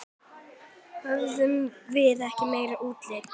Höfðum við ekki meira úthald?